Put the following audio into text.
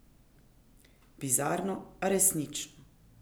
Bizarno, a resnično!